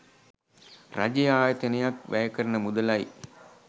රජයේ ආයතනයක් වැයකරන මුදලයි